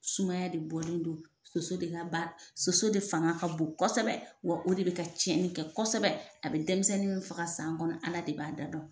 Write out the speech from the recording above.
Sumaya de bɔlen don, soso de ka ba sɔsɔ de fanga ka bon kosɛbɛ, wa o de bɛ ka cɛnni kɛ kosɛbɛ, a bɛ denmisɛnnin min faga san kɔnɔ Ala de b'a da dɔn.